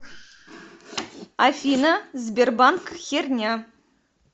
афина сбербанк херня